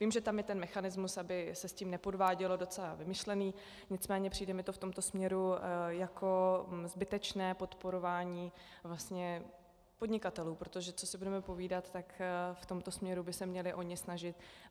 Vím, že tam je ten mechanismus, aby se s tím nepodvádělo, docela vymyšlený, nicméně přijde mi to v tomto směru jako zbytečné podporování podnikatelů, protože co si budeme povídat, tak v tomto směru by se měli oni snažit.